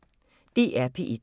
DR P1